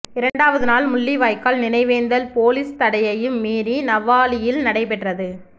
இரண்டாவது நாள் முள்ளிவாய்க்கால் நினைவேந்தல் பொலிஸ் தடையையும் மீறி நவாலியில் நடைபெற்றது